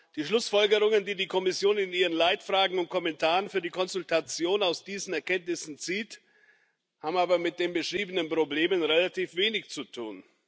Die Schlussfolgerungen, die die Kommission in ihren Leitfragen und Kommentaren für die Konsultation aus diesen Erkenntnissen zieht, haben aber mit den beschriebenen Problemen relativ wenig zu tun.